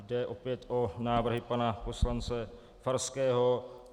Jde opět o návrhy pana poslance Farského.